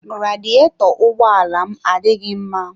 Radiyetọ ụgbọ ala m adịghị mma.